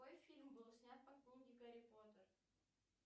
какой фильм был снят по книге гарри поттер